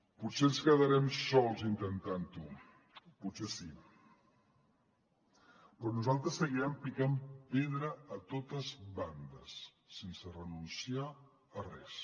potser ens quedarem sols intentant ho potser sí però nosaltres seguirem picant pedra a totes bandes sense renunciar a res